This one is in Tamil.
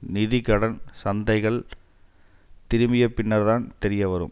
நிதி கடன் சந்தைகள் திரும்பிய பின்னர்தான் தெரிய வரும்